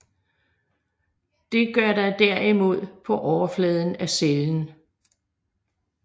Det gør der derimod på overfladen af cellen